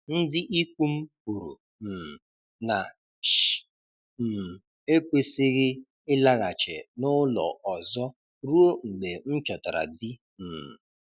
Ndị ikwu m kwuru um na Ish um ekwesịghị ịlaghachi n'ụlọ ọzọ ruo mgbe m chọtara di um